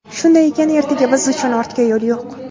Shunday ekan, ertaga biz uchun ortga yo‘l yo‘q.